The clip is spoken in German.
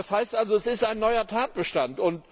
kündigen. Das heißt also, es ist ein neuer Tatbestand.